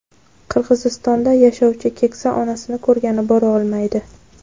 Qirg‘izistonda yashovchi keksa onasini ko‘rgani bora olmaydi.